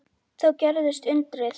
Þá gerðist undrið.